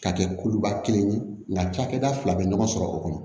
Ka kɛ kuluba kelen ye nka cakɛda fila bɛ ɲɔgɔn sɔrɔ o kɔnɔ